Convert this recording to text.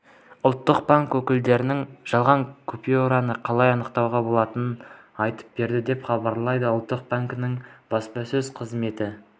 ұлттық банк өкілдері жалған купюраны қалай анықтауға болатынын айтып берді деп хабарлайды ұлттық банкінің баспасөз қызметі